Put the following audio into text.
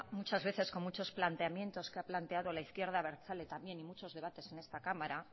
muchas veces con muchos planteamientos que ha planteado la izquierda abertzale también y muchos debates en esta cámara